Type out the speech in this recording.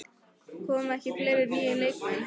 Koma ekki fleiri nýir leikmenn?